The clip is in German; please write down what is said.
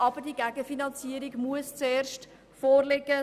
Aber die Gegenfinanzierung muss erst vorliegen.